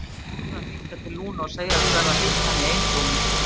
Hann varð að hringja til Lúnu og segjast verða að hitta hana í einrúmi.